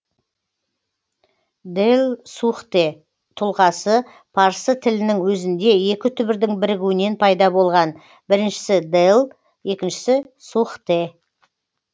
дэлсухтэ тұлғасы парсы тілінің өзінде екі түбірдің бірігуінен пайда болған біріншісі дэл екіншісі сухтэ